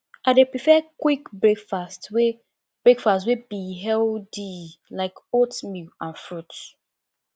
i dey prefer quick breakfast wey breakfast wey be healthy like oatmeal and fruits